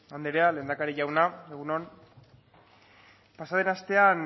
anderea lehendakari jauna egun on pasa den astean